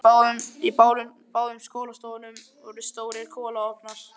Í báðum skólastofunum voru stórir kolaofnar.